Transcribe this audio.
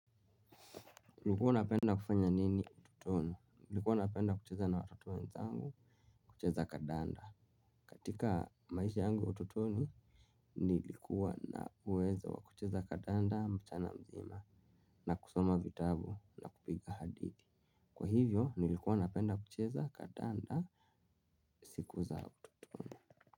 Ulikuwa unapenda kufanya nini utotoni? Nilikuwa napenda kucheza na watoto wenzangu, kucheza kandanda katika maisha yangu ya utotoni, nilikuwa na uwezo wa kucheza kandanda mchana mzima na kusoma vitabu na kupiga hadithi. Kwa hivyo nilikuwa napenda kucheza kandanda siku za utotoni.